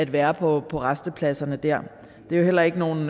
være på på rastepladserne det er heller ikke nogle